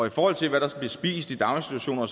i forhold til hvad der bliver spist i daginstitutioner